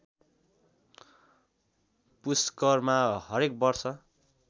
पुस्करमा हरेक वर्ष